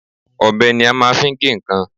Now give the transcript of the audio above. Ọbẹ ni a fi máa ń gé nǹkan.